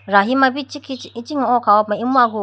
rahi ma ichikhi ichikhi oo kha ho puma imu agu o.